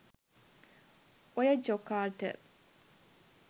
ඔය ජොකාට